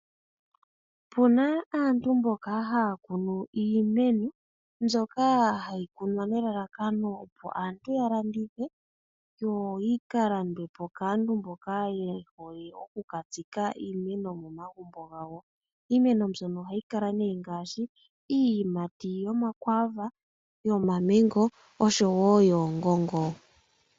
Opuna aantu mboka haya kunu iimeno mbyoka hayi opo aantu yalandithe, yo yika landwepo kaantu mboka yehole okukatsika iimeno momagumbo gawo. Iimeno mbyono ohayi kala ngaashi iiyimati yomakwaava, yomamengo oshowo yoongongo.